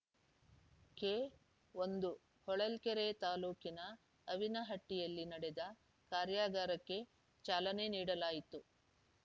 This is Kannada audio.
ಕೆ ಒಂದು ಹೊಳಲ್ಕೆರೆ ತಾಲೂಕಿನ ಅವಿನಹಟ್ಟಿಯಲ್ಲಿ ನಡೆದ ಕಾರ್ಯಾಗಾರಕ್ಕೆ ಚಾಲನೆ ನೀಡಲಾಯಿತು